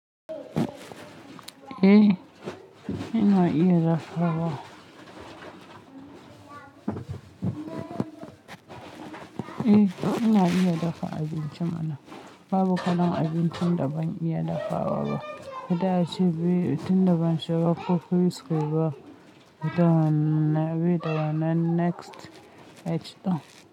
Eh, ina iya dafawa. Eh, ina iya dafa abinci mana. Babu kalan abincin da ban iya dafa wa ba. Da ace, biyu, abincin da ban shiga cookery school ba. Don, na biyu, da na next age don.